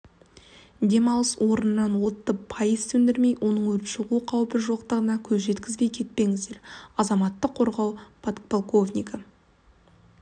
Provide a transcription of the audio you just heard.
демалыс орнынан отты пайыз сөндірмей оның өрт шығу қаупі жоқтығына көз жеткізбей кетпеңіздер азаматтық қорғау подполковнигі